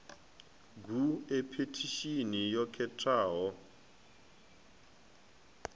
gu e phethishini yo khetheaho